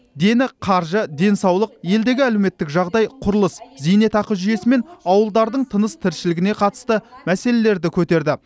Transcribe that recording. дені қаржы денсаулық елдегі әлеуметтік жағдай құрылыс зейнетақы жүйесі мен ауылдардың тыныс тіршілігіне қатысты мәселелерді көтерді